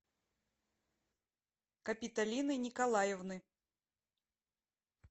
капитолины николаевны